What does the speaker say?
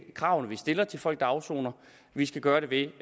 kravene vi stiller til folk der afsoner vi skal gøre det ved